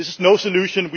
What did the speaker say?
This is no solution